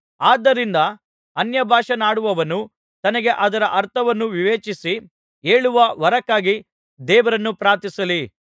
ಆದ್ದರಿಂದ ಅನ್ಯಭಾಷೆಯನ್ನಾಡುವವನು ತನಗೆ ಅದರ ಅರ್ಥವನ್ನು ವಿವೇಚಿಸಿ ಹೇಳುವ ವರಕ್ಕಾಗಿ ದೇವರನ್ನು ಪ್ರಾರ್ಥಿಸಲಿ